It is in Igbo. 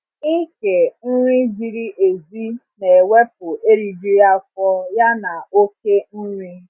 ịke nri ziri ểzi na ewepụ erijughị afọ ya na okể nri